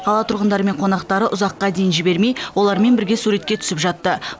қала тұрғындары мен қонақтары ұзаққа дейін жібермей олармен бірге суретке түсіп жатты